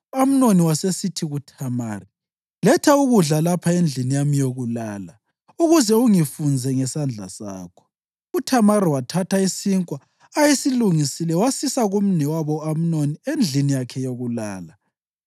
U-Amnoni wasesithi kuThamari, “Letha ukudla lapha endlini yami yokulala ukuze ungifunze ngesandla sakho.” UThamari wathatha isinkwa ayesilungisile wasisa kumnewabo u-Amnoni endlini yakhe yokulala.